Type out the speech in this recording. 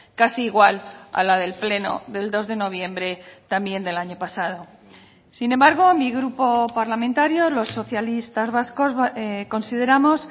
casi igual a la del pleno del dos de noviembre también del año pasado sin embargo mi grupo parlamentario los socialistas vascos consideramos